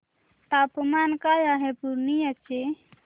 तापमान काय आहे पूर्णिया चे